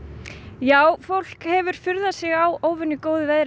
já fólk hefur furðað sig á óvenju góðu veðri